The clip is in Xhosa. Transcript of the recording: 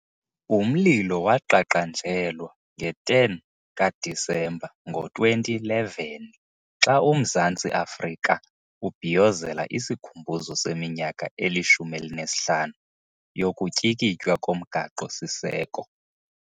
Umlilo waqaqanjelwa nge-10 ka-Disemba ngo-2011 xa uMzantsi Afrika ubhiyozela isikhumbuzo seminyaka eli-15 yokutyikitywa komgaqo siseko.